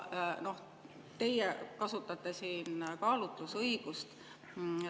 Teie kasutate siin kaalutlusõigust.